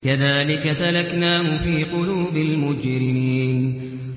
كَذَٰلِكَ سَلَكْنَاهُ فِي قُلُوبِ الْمُجْرِمِينَ